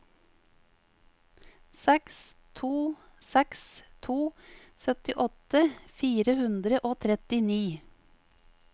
seks to seks to syttiåtte fire hundre og trettini